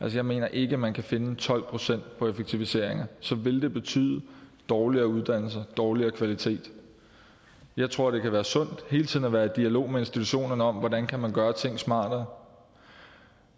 jeg mener ikke at man kan vinde tolv procent på effektiviseringer så vil det betyde dårligere uddannelser dårligere kvalitet jeg tror det kan være sundt hele tiden at være i dialog med institutionerne om hvordan man kan gøre ting smartere